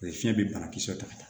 fiɲɛ bɛ banakisɛ taga